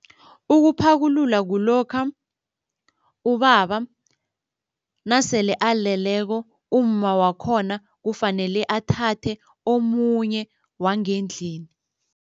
Ukuphakulula kulokha ubaba nasele aleleko, umma wakhona kufanele athathe omunye wangendlini.